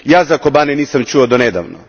Ja za Kobane nisam čuo do nedavno.